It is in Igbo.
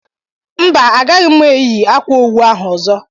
Mba Agaghị mụ eyi ákwà owu ahụ ọzọ